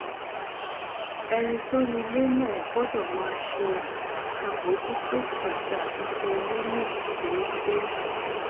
ẹni tó ni ilé náà gbódò máa ṣe àbójútó àti àtúnṣe ilé náà déédéé